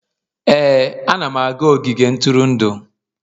Ee, ana m aga n'ogige ntụrụndụ